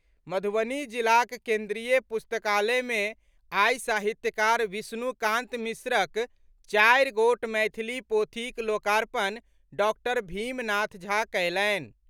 मधुबनीक जिला केन्द्रीय पुस्तकालय मे आई साहित्यकार विष्णुकांत मिश्रक चारि गोट मैथिली पोथीक लोकार्पण डॉक्टर भीमनाथ झा कयलनि।